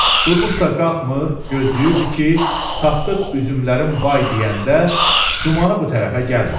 Durmuş da qalxmır, gözləyirdi ki, Tapdıq üzümlərin bay deyəndə gümanı bu tərəfə gəlməsin.